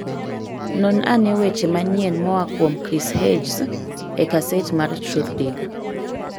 non ane weche manyien moa kuom chris hedges e gaset mar truthdig